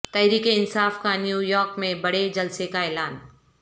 تحریک انصاف کا نیویارک میں بڑے جلسے کا اعلان